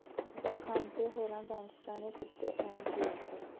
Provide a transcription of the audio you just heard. ਬੱਗਾ ਖਾਨ ਤੇ ਹੋਰਾਂ ਗੈਂਗਸਟਰਾਂ ਨੇ ਕੀਤੇ ਅਹਿਮ ਖੁਲਾਸੇ